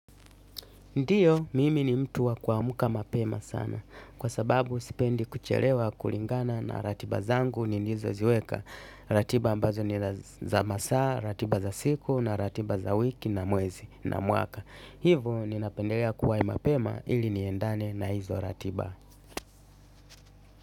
Ndio mimi ni mtu wa kuamka mapema sana kwa sababu, sipendi kuchelewa kulingana na ratiba zangu nilizoziweka. Ratiba ambazo ni za masaa, ratiba za siku na ratiba za wiki na muwezi na muaka. Hivo, ninapendelea kuwai mapema ili niendane na hizo ratiba.